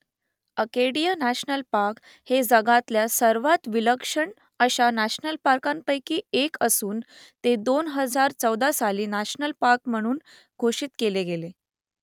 Acadia national park हे जगातल्या सर्वांत विलक्षण अशा नॅशनल पार्कांपैकी एक असून ते दोन हजार चौदा साली नॅशनल पार्क म्हणून घोषित केले गेले